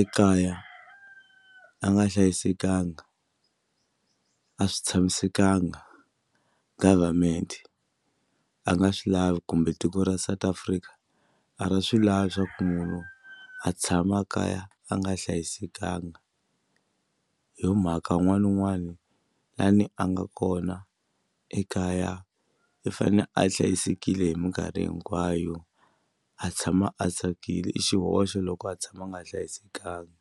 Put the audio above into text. ekaya a nga hlayisekanga a swi tshamisekanga government a nga swi lavi kumbe tiko ra South Africa a ri swi lava swa ku munhu a tshama a kaya a nga hlayisekanga a hi yo mhaka un'wana na un'wana la ni a nga kona ekaya i fane a hlayisekile hi mikarhi hinkwayo a tshama a tsakile i xihoxo loko a tshama a nga hlayisekanga.